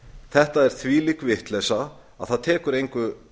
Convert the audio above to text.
þetta er þvílík vitleysa að það tekur engu